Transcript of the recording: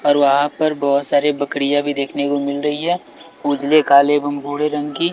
और वहां पर बहोत सारे बकरियां भी देखने को मिल रही है उजले काले एवं भूरे रंग की।